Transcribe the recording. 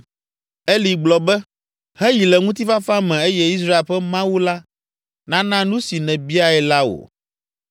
Eli gblɔ be, “Heyi le ŋutifafa me eye Israel ƒe Mawu la nana nu si nèbiae la wò!”